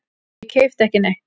Ég keypti ekki neitt.